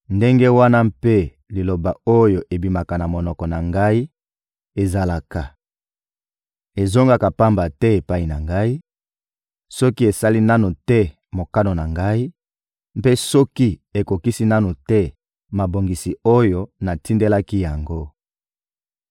ndenge wana mpe liloba oyo ebimaka na monoko na Ngai ezalaka: ezongaka pamba te epai na Ngai, soki esali nanu te mokano na Ngai, mpe soki ekokisi nanu te mabongisi oyo natindelaki yango.